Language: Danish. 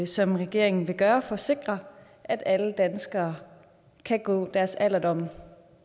som regeringen vil gøre for at sikre at alle danskere kan gå deres alderdom